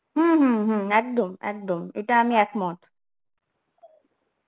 হম হম হম একদম একদম এটা আমি একমত